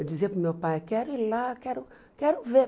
Eu dizia para o meu pai, quero ir lá, quero quero ver.